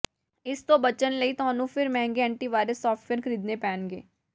ਇਸ ਤੋਂ ਬਚਣ ਲਈ ਤੁਹਾਨੂੰ ਫਿਰ ਮਹਿੰਗੇ ਐਂਟੀਵਾਇਰਸ ਸਾਫਟਵੇਅਰ ਖਰੀਦਣੇ ਪੈਣਗੇ